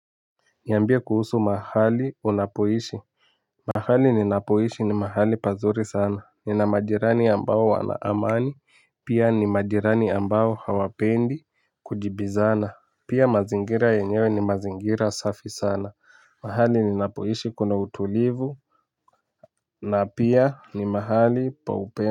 Niambie kuhusu mahali unapoishi mahali ninapoishi ni mahali pazuri sana nina majirani ambao wana amani pia ni majirani ambao hawapendi kujibizana pia mazingira yenyewe ni mazingira safi sana mahali ninapoishi kuna utulivu na pia ni mahali pa upendo.